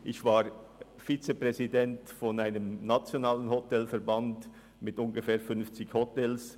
Ich war Vizepräsident eines nationalen Hotelverbands mit ungefähr fünfzig Hotels.